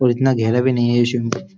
और इतना घेरा भी नहीं है ये।